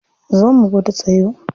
Zo mu gwada tsayo.